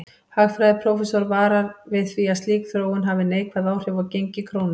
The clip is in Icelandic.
Hagfræðiprófessor varar við því að slík þróun hafi neikvæð áhrif á gengi krónu.